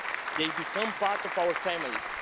They become part of our families.